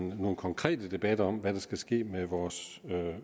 nogle konkrete debatter om hvad der skal ske med vores